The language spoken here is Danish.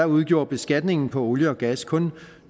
udgjorde beskatningen på olie og gas kun